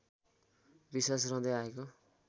विश्वास रहँदै आएको